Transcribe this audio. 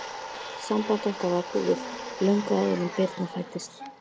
Samband okkar var búið, löngu áður en Birna fæddist.